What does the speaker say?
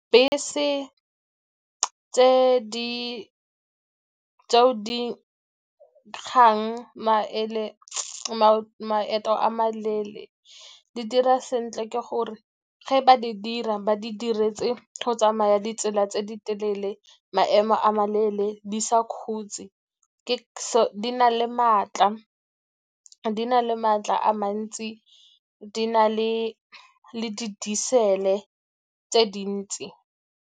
Bese tseo di kgang , maeto a maleele di dira sentle ke gore ge ba di dira, ba di diretse go tsamaya ditsela tse di telele, maemo a maleele di sa khutse. Di na le matla a mantsi, di na le le di tse dintsi.